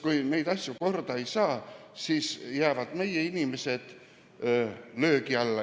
Kui neid asju korda ei saa, siis jäävad meie inimesed löögi alla.